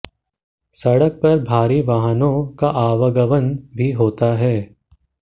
सड़क पर भारी वाहनों का आवागमन भी होता है